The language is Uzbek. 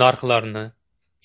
Narxlarni,